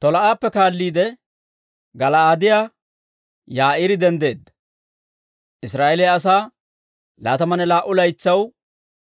Tolaa'appe kaalliide, Gala'aadiyaa Yaa'iiri denddeedda; Israa'eeliyaa asaa laatamanne laa"u laytsaw